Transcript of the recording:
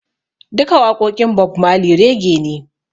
Duka waƙoƙin Bob Marley Rege ne